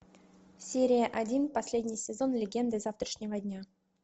серия один последний сезон легенды завтрашнего дня